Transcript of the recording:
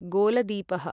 गोलदीपः